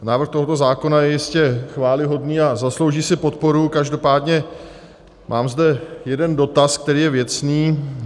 Návrh tohoto zákona je jistě chvályhodný a zaslouží si podporu, každopádně mám zde jeden dotaz, který je věcný.